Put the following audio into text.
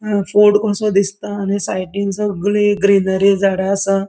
अ फोड़ कोसो दिसता आणि साइडीन सगळी ग्रीनरी झाडा आसा.